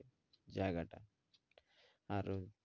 জায়গাটা আর